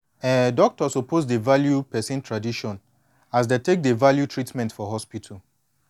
eh hospital suppose dey value person tradition as dey take dey value treatment for hospital